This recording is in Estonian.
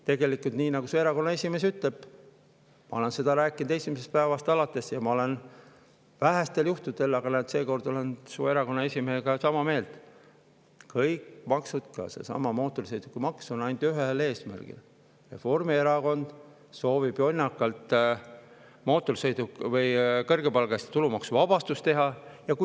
Tegelikult nii, nagu su erakonna esimees ütleb – ma olen seda rääkinud esimesest päevast alates ja ma olen vähestel juhtudel su erakonna esimehega sama meelt, aga seekord olen –, kõik maksud, ka seesama mootorsõidukimaks, on ainult ühel eesmärgil: Reformierakond soovib jonnakalt teha kõrgepalgaliste tulumaksu.